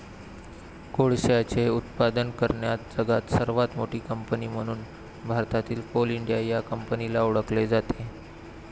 कोळशाचे उत्पादन करण्यात जगात सर्वात मोठी कंपनी म्हणून भारतातील कोल इंडिया या कंपनीला ओळखले जाते.